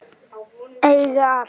Eiga allt.